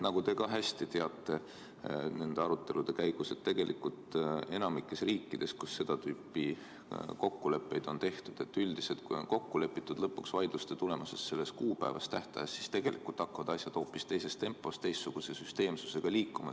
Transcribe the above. Nagu te ka hästi teate, nende arutelude käigus enamikus riikides, kus seda tüüpi kokkuleppeid on tehtud, on üldiselt nii, et kui on lõpuks vaidluste tulemusel selles tähtajas kokku lepitud, siis hakkavad asjad hoopis teises tempos ja teistsuguse süsteemsusega liikuma.